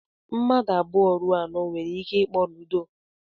Mmadụ abụọ ruo anọ nwere ike ịkpọ Ludo.